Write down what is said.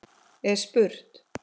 er spurt.